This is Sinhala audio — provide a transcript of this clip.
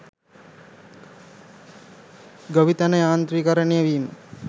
ගොවිතැන යාන්ත්‍රීකරණය වීම